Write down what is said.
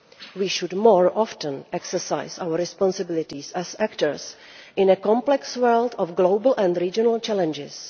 We should more often exercise our responsibilities as actors in a complex world of global and regional challenges.